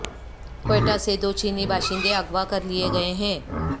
کوئٹہ سے دو چینی باشندے اغوا کر لیے گئے